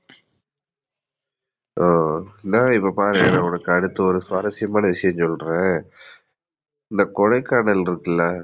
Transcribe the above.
ஆஹ் அடுத்து இப்ப பாருங்களே இப்ப நான் ஒரு சுவாரசியமான விஷயம் சொல்றேன். இந்த கொடைக்கானல் இருக்குல்ல